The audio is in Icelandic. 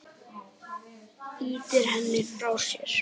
Ýtir henni frá sér.